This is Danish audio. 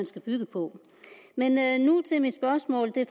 skal bygge på men nu til mit spørgsmål det